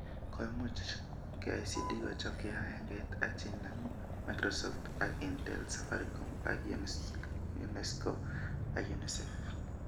Koimuch KICD kochob kibagengeit ak chenemu, Microsoft ak Intel, Safaricom, ak UNESCO ak UNICEF